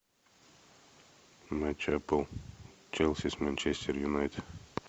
матч апл челси с манчестер юнайтед